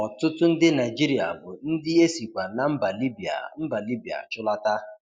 Ọtụtụ ndi Naịjịrịa bụ ndi e sikwa na mba Libya mba Libya chụlata.